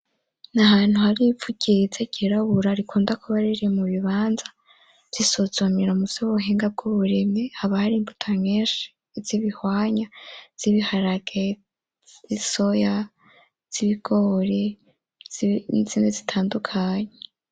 N'ahantu hari ivu ryiza ryirabura rikunda kuba riri mu bibanza vy'isuzumiro mu vy'ubuhinga bw'uburimyi hakaba hari imbuto nyishi iz'ibihwanyu ,iz'ibiharage n'isoya iz'ibigori n'izindi zitandukanye.